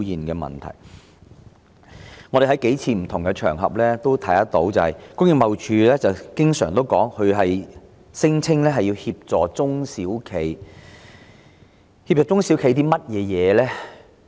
我們在數個不同場合也聽到工貿署經常聲稱會協助中小型企業，究竟詳情為何呢？